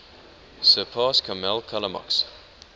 surpass kammel kalamak's